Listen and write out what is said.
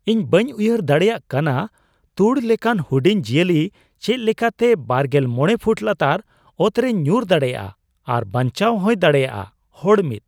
ᱤᱧ ᱵᱟᱹᱧ ᱩᱭᱦᱟᱹᱨ ᱫᱟᱲᱮᱭᱟᱜ ᱠᱟᱱᱟ ᱛᱩᱲ ᱞᱮᱠᱟᱱ ᱦᱩᱰᱤᱧ ᱡᱤᱭᱟᱹᱞᱤ ᱪᱮᱫ ᱞᱮᱠᱟᱛᱮ ᱒᱕ ᱯᱷᱩᱴ ᱞᱟᱛᱟᱨ ᱚᱴᱨᱮᱭ ᱧᱩᱨ ᱫᱟᱲᱮᱭᱟᱜᱼᱟ ᱟᱨ ᱵᱟᱧᱪᱟᱣ ᱦᱚᱸᱭ ᱛᱟᱦᱮᱸ ᱫᱟᱲᱮᱭᱟᱜᱼᱟ ᱾ (ᱦᱚᱲ ᱑)